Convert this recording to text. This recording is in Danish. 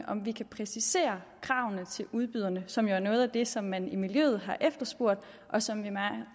om vi kan præcisere kravene til udbyderne som jo er noget af det som man i miljøet har efterspurgt og som vi